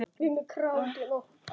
Elsku Arndís Halla okkar.